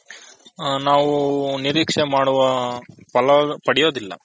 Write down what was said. ನಾವು ನಿರೀಕ್ಷೆ ಮಾಡುವ ಫಲ ಪಡ್ಯೋದಿಲ್ಲ.